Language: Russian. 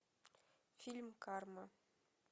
фильм карма